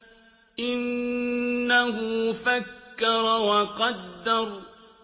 إِنَّهُ فَكَّرَ وَقَدَّرَ